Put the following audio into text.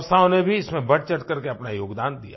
संस्थाओं ने भी इसमें बढ़चढ़कर के अपना योगदान दिया